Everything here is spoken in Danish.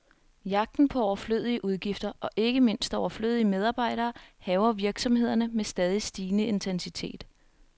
Jagten på overflødige udgifter, og ikke mindst overflødige medarbejdere, hærger virksomhederne med stadig stigende intensitet.